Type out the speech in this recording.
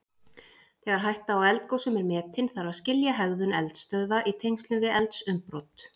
Þegar hætta á eldgosum er metin þarf að skilja hegðun eldstöðva í tengslum við eldsumbrot.